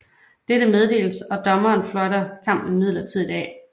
Dette meddeles og dommeren fløjter kampen midlertidigt af